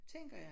Tænker jeg